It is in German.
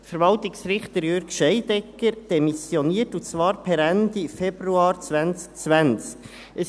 Verwaltungsrichter Jürg Scheidegger demissionierte für die Amtsdauer bis 2022, und zwar per Ende Februar 2020.